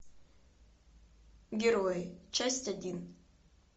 герои часть один